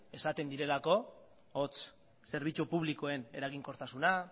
esaten direlako hots zerbitzu publikoen eraginkortasuna